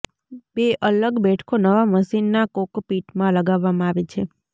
બે અલગ બેઠકો નવા મશીન ના કોકપીટમાં લગાવવામાં આવે છે